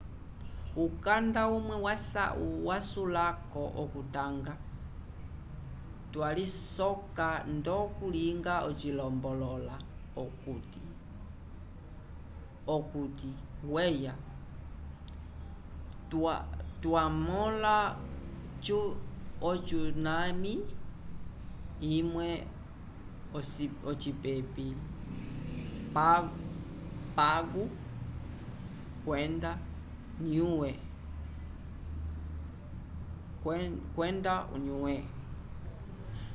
ukanda umwe wasulako okutanga kwalisoka ndo kalunga cilombolola okuti weya twa mola o tsunami imwe ocipepi pago kwenda o niue